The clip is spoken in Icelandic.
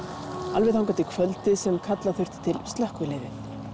alveg þangað til kvöldið sem kalla þurfti til slökkviliðið